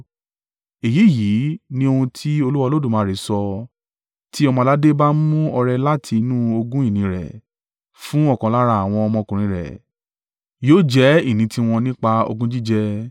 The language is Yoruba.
“ ‘Èyí yìí ni ohun tí Olúwa Olódùmarè sọ, tí ọmọ-aládé bá mú ọrẹ láti inú ogún ìní rẹ̀ fún ọ̀kan lára àwọn ọmọkùnrin rẹ̀, yóò jẹ́ ìní tiwọn nípa ogún jíjẹ.